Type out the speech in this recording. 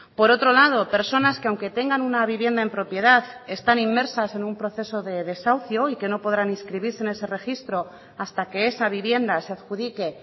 por otro lado personas que aunque tengan una vivienda en propiedad están inmersas en un proceso de desahucio y que no podrán inscribirse en ese registro hasta que esa vivienda se adjudique